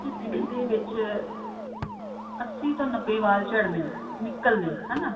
ਦਿਨ ਦੇ ਵਿੱਚ ਅੱਸੀ ਤੋਂ ਨੱਬੇ ਵਾਲ ਝੜਨੇ ਨਿਕਲਨੇ ਹਨਾ